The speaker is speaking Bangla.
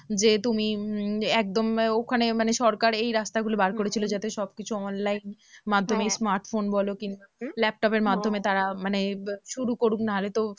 যে তুমি উম একদম ওখানে মানে সরকার এই রাস্তাগুলো বার করেছিল যাতে সবকিছু online মাধ্যমে smartphone বলো laptop এর মাধ্যমে তারা মানে শুরু করুক নাহলে তো